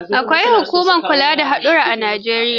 Akwai hukumar kula da haɗura a Najeriya.